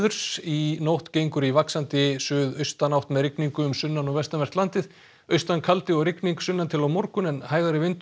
í nótt gengur í vaxandi suðaustanátt með rigningu um sunnan og vestanvert landið austankaldi og rigning sunnan til á morgun en hægari vindur